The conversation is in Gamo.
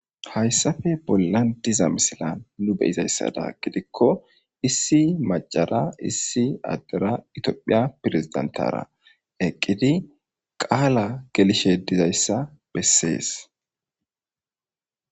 Hayssafe bollan diza misilan nu beyizayssada gidikko issi macara issi addera itoophiya pirizidentara eqqidi qaala gelishe dizayssa bessees